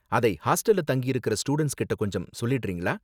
அதை ஹாஸ்டல்ல தங்கியிருக்கற ஸ்டூடண்ட்ஸ் கிட்ட கொஞ்சம் சொல்லிடுறீங்களா?